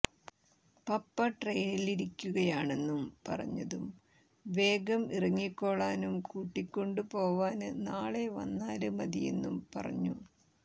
പപ്പ ട്രെയിനിലിരിക്കുകയാണെന്നു പറഞ്ഞതും വേഗം ഇറങ്ങിക്കോളാനും കൂട്ടിക്കൊണ്ടു പോവാന് നാളെ വന്നാല് മതിയെന്നും പറഞ്ഞു